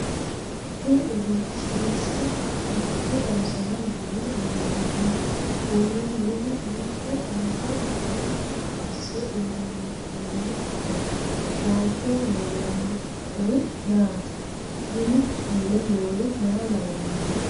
kuni egenshiishshu maricho xawisara yine loonsoonniho? uurre noohu manchu anga hiitto asse uurrinoho? waalchoho leellannori maati? minu mule noori maa lawannoho?